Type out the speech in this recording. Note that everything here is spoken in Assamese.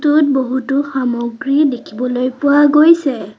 য'ত বহুতো সামগ্ৰী দেখিবলৈ পোৱা গৈছে।